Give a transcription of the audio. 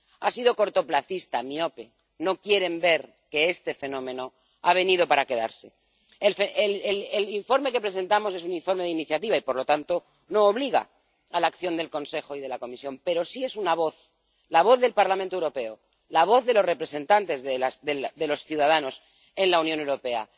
Ha sido cortoplacista, miope, no quieren ver que este fenómeno ha venido para quedarse. El informe que presentamos es un informe de propia iniciativa y, por lo tanto, no obliga a la acción del Consejo y de la Comisión. Pero sí es una voz, la voz del Parlamento Europeo, la voz de los representantes de los ciudadanos en la Unión Europea.